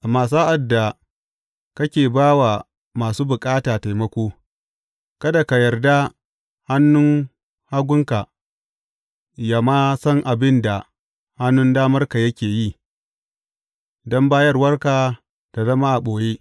Amma sa’ad da kake ba wa masu bukata taimako, kada ka yarda hannun hagunka yă ma san abin da hannun damarka yake yi, don bayarwarka ta zama a ɓoye.